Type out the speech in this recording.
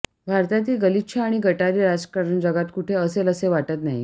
भारतातील गलिच्छ आणि गटारी राजकारण जगात कुठे असेल असे वाटत नाही